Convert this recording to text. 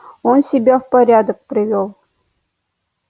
он себя в порядок привёл